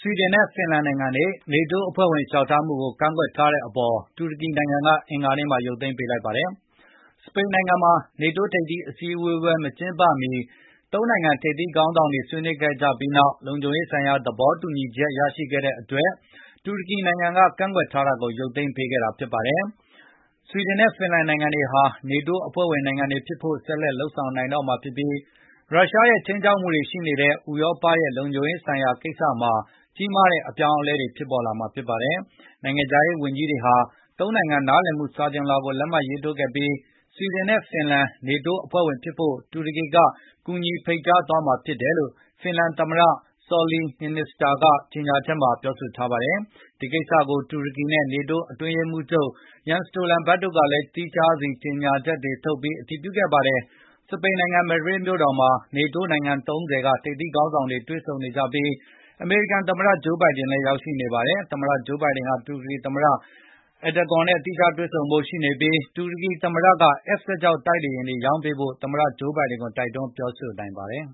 ွီဒင်နဲ့ ဖင်လန်နိုင်ငံတွေ NATO အဖွဲ့ဝင် လျှောက်ထားမှုကို ကန့်ကွက်ထားတဲ့ အပေါ် တူရကီနိုင်ငံက အင်္ဂါနေ့မှာ ရုပ်သိမ်းပေးလိုက်ပါတယ်။ စပိန်နိုင်ငံမှာ နေတိုးထိပ်သီးအစည်းအဝေး မကျင်းပမီ ၃ နိုင်ငံ ထိပ်သီးခေါင်းဆောင်တွေ ဆွေးနွေးခဲ့ကြပြီးနောက် လုံခြုံရေးဆိုင်ရာ သဘောတူညီချက် ရရှိခဲ့တဲ့အတွက် တူရကီနိုင်ငံက ကန့်ကွက်ထားတာကို ရုပ်သိမ်းပေးခဲ့တာ ဖြစ်ပါတယ်။ ဆွီဒင်နဲ့ ဖင်လန်နိုင်ငံတွေဟာ NATO အဖွဲ့ဝင်နိုင်ငံတွေ ဖြစ်ဖို့ ဆက်လက် လုပ်ဆောင်နိုင်တော့မှာ ဖြစ်ပြီး ရုရှားရဲ့ ခြိမ်းခြောက်မှုရှိနေတဲ့ ဥရောပရဲ့ လုံခြုံရေးဆိုင်ရာကိစ္စမှာ ကြီးမားတဲ့ အပြောင်းအလဲတွေ ဖြစ်ပေါ်လာတာဖြစ်ပါတယ်။ နိုင်ငံခြားရေး ဝန်ကြီးတွေဟာ ၃ နိုင်ငံ နားလည်မှု စာချွန်လွှာကို လက်မှတ်ရေးထိုးခဲ့ကြပြီး ဆွီဒင်နဲ့ ဖင်လန် တို့ NATO အဖွဲ့ဝင်ဖြစ်ဖို့ တူရကီက ကူညီဖိတ်ကြားသွားမှာ ဖြစ်တယ်လို့ ဖင်လန်သမ္မတ Sauli Niinisto ကကြေညာချက် ထုတ်ပြန်ထားပါတယ်။ ဒီကိစ္စကို တူရကီနဲ့ NATO အတွင်းရေးမှူးချုပ် Jens Stoltenberg တို့ကလည်းသီးခြား ကြေညာချက်တွေ ထုတ်ပြန်အတည်ပြုခဲ့ပါတယ်။ စပိန်နိုင်ငံ Madrid မြို့တော်မှာ NATO အဖွဲ့ဝင်နိုင်ငံ ၃၀ က ထိပ်သီးခေါင်းဆောင်တွေ တွေ့ဆုံနေကြပြီး အမေရိကန် သမ္မတ ဂျိုးဘိုင်ဒင်လည်း ရောက်ရှိနေပါတယ်။ သမ္မတ ဂျိုးဘိုင်ဒင်ဟာ တူရကီသမ္မတ Erdogan နဲ့ သီးခြားတွေ့ဆုံဖု့ိရှိနေပြီး တူရကီသမ္မတက F16 ဂျက်တိုက်လေယာဉ်တွေ ရောင်းပေးဖို့ သမ္မတ ဂျိုးဘိုင်ဒင်ကို တိုက်တွန်းပြောဆိုနိုင်ပါတယ်